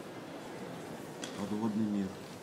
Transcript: подводный мир